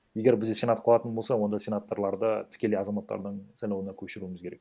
егер бізде сенат қылатын болса онда сенаторларды тікелей азаматтардың сайлауына көшіруіміз керек